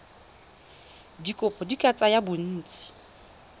dikopo di ka tsaya bontsi